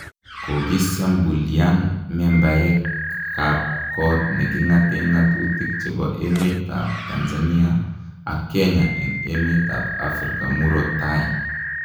kokisiambulian membeak ab kot negi ngate ngatutik chebo emet ab Tanzania ak Kenya en met ab Africa muroot tai